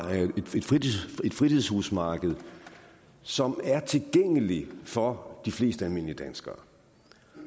et fritidshusmarked som er tilgængeligt for de fleste almindelige danskere